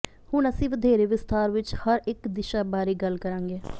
ਹੁਣ ਅਸੀਂ ਵਧੇਰੇ ਵਿਸਥਾਰ ਵਿੱਚ ਹਰ ਇੱਕ ਦਿਸ਼ਾ ਬਾਰੇ ਗੱਲ ਕਰਾਂਗੇ